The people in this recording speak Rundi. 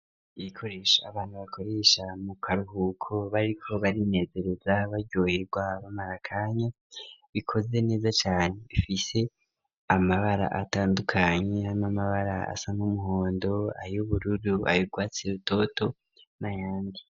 Ibikoresha abantu bakoresha mu karuhuko ,bariko bari nezereza baryoherwa, bamarakanya bikoze neza cane, ifise amabara atandukanye ,n'amabara asa n'umuhondo ,ay'ubururu, ayugwatsi rutoto ,n'ayandi.